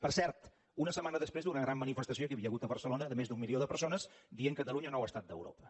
per cert una setmana després d’una gran manifestació que hi havia hagut a barcelona de més d’un milió de persones que deien catalunya nou estat d’europa